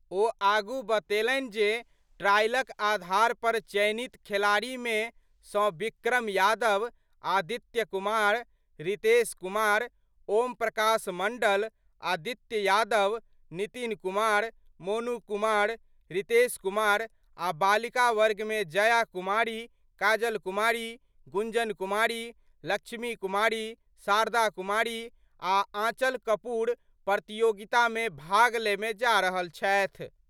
ओ आगु बतेलनि जे ट्रायलक आधार पर चयनित खिलाड़ीमे सऽ विक्रम यादव, आदित्य कुमार, रितेश कुमार, ओमप्रकाश मंडल, आदित्य यादव, नितिन कुमार, मोनू कुमार, रितेश कुमार आ बालिका वर्गमे जया कुमारी, काजल कुमारी, गुंजन कुमारी, लक्ष्मी कुमारी, शारदा कुमारी आ आंचल कपूर प्रतियोगितामे भाग लेमय जा रहल छथि।